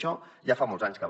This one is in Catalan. això ja fa molts anys que va